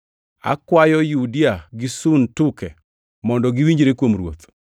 Akwayo Yudia gi Suntuke mondo giwinjre kuom Ruoth.